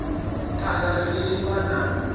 u phaga zwiliwa na nyofho